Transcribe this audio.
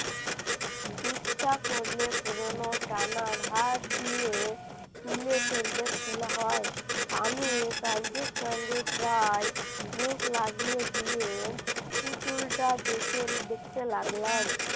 ইচ্ছা করলে পুরনো টানার হাত দিয়ে তুলে ফেলতে ফেলা হয় আমি মুখ লাগিয়ে দিয়ে পুতুলটা দেখে দেখতে লাগলাম।